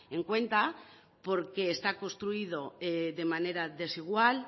en cuanta porque está construido de manera desigual